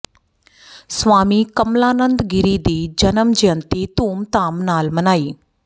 ਸਵਾਮੀ ਕਮਲਾਨੰਦ ਗਿਰੀ ਦੀ ਜਨਮ ਜੈਅੰਤੀ ਧੂਮਧਾਮ ਨਾਲ ਮਨਾਈ